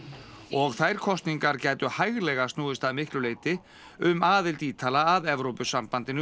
og þær kosningar gætu hæglega snúist að miklu leyti um aðild Ítala að Evrópusambandinu